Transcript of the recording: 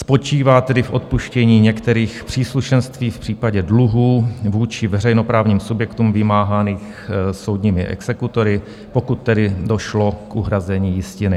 Spočívá tedy v odpuštění některých příslušenství v případě dluhů vůči veřejnoprávním subjektům vymáhaných soudními exekutory, pokud tedy došlo k uhrazení jistiny.